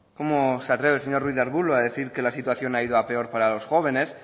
cómo se atreve señor ruiz de arbulo a decir que la situación ha ido a peor para los jóvenes